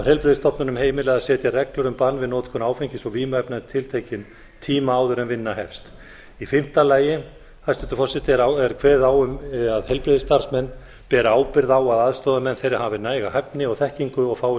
heilbrigðisstofnunum heimilað að setja reglur um bann við notkun áfengis og vímuefna um tiltekinn tíma áður en vinna hefst í fimmta lagi hæstvirtur forseti er kveðið á um að heilbrigðisstarfsmenn beri ábyrgð á að aðstoðarmenn þeirra hafi næga hæfni og þekkingu og fái